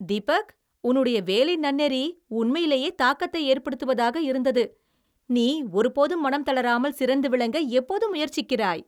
தீபக், உன்னுடைய வேலை நன்னெறி உண்மையிலேயே தாக்கத்தை ஏற்படுத்துவதாக இருந்தது. நீ ஒருபோதும் மனம் தளராமல் சிறந்து விளங்க எப்போதும் முயற்சிக்கிறாய்.